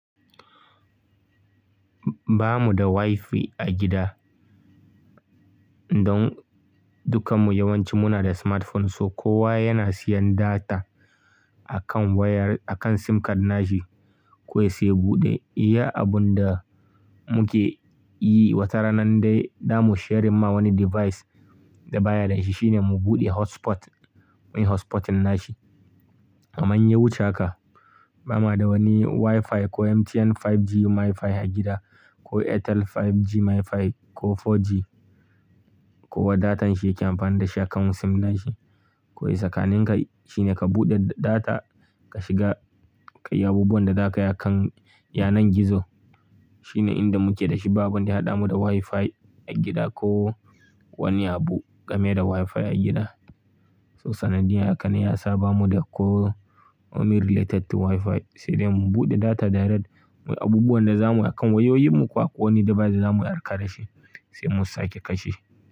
Ba mu da Wi-Fi a gida, don dukkan mu yawanci muna da smartphone, so kowa yana siyan data a kan wayar, a kan sim card nashi. Kowai sai ya buɗe, iya abun da muke yi wata rana dai zamu sharing ma wani device da baya da shi shine mu buɗe hotspot, muyi hotspoting nashi. Amma in ya wuce haka, ba ma da wani Wi-Fi ko MTN 5G MiFi a gida ko Airtel 5G MiFi ko 4G. Kowa da datan shi yake amfani da shi a kan sim nashi. Kawaai tsakanin ka shine ka buɗe data ka shiga, ka yi abubuwan da zaka yi a kan yanar gizo. Shine inda muke da shi babu wanda ya haɗa mu da Wi-Fi a gida ko wani abu game da Wi-Fi a gida. So sanadiyya haka ne yasa ba mu da ko wani related to Wi-Fi, sai dai mu buɗe data darad muyi abubuwan da za mu yi a kan wayoyinmu kuwa ko wani device da za mu harka da shi sai mu sake kashe.